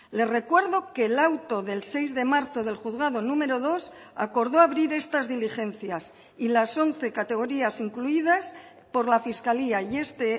le recuerdo que el auto del seis de marzo del juzgado número dos acordó abrir estas diligencias y las once categorías incluidas por la fiscalía y este